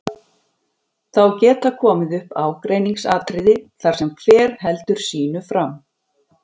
Þá geta komið upp ágreiningsatriði þar sem hver heldur sínu fram.